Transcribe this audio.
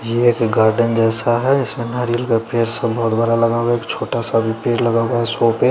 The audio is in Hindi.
ये ऐसे गार्डन जैसा है इसमें नारियल का पेड़ सा बहुत बड़ा लगा हुआ है एक छोटा सा भी पेड़ लगा हुआ है शो पे --